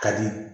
Ka di